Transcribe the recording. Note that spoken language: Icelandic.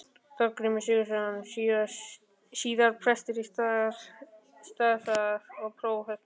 Þorgrímur Sigurðsson, síðar prestur á Staðarstað og prófastur.